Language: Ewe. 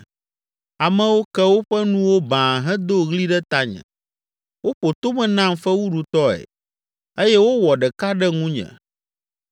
Amewo ke woƒe nuwo baa hedo ɣli ɖe tanye. Woƒo tome nam fewuɖutɔe eye wowɔ ɖeka ɖe ŋunye.